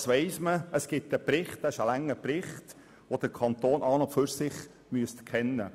Dies weiss man, und es existiert ein langer Bericht, welcher dem Kanton an und für sich bekannt sein sollte.